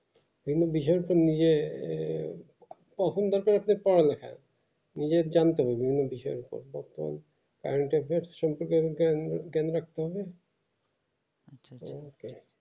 অনেক বিষয় তো নিজে আহ তখন দরকার একটু পড়া লেখার নিজেকে জানতে হবে বিভিন্ন বিষয়য়ে কেননা কোনো